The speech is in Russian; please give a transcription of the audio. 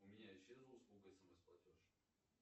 у меня исчезла услуга смс платеж